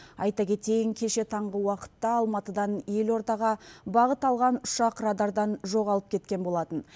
айта кетейін кеше таңғы уақытта алматыдан елордаға бағыт алған ұшақ радардан жоғалып кеткен болатын